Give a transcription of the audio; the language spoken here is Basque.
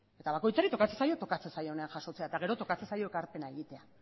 eta bakoitzari tokatzen zaio tokatzen zaionean jasotzea eta gero tokatzen zaio ekarpena egitea